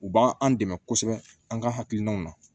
U b'an an dɛmɛ kosɛbɛ an ka hakilinaw na